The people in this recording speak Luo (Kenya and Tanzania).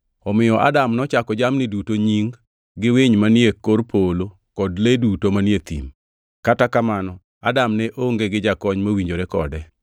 Omiyo Adam nochako jamni duto nying, gi winy manie kor polo kod le duto manie thim. Kata kamano Adam ne onge gi jakony mowinjore kode.